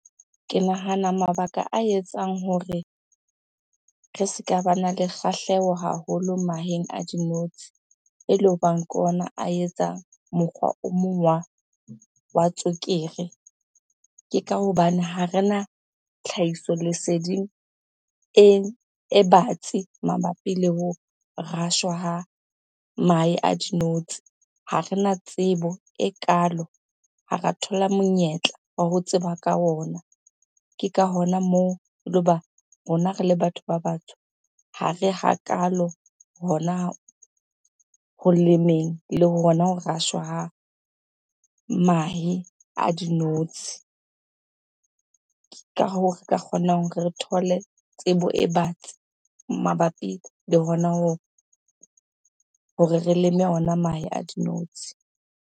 Ke nahana mabaka a etsang hore re se ka bana le kgahleho haholo maheng a dinotshi ele hobang ke ona a etsang mokgwa o mong wa tswekere. Ke ka hobane ha rena tlhahiso leseding e batsi mabapi le ho rashwa ha mahe a dinotshi. Ha rena tsebo ekaalo, ha ra thola monyetla wa ho tseba ka ona. Ke ka hona moo rona re le batho ba batsho ha re hakaalo hona ho lemeng le hona hore rashwa mahe a dinotshi. Ke ka hoo re ka kgonang re thole tsebo e batsi mabapi le hona hore re leme ona mahe a dinotshi.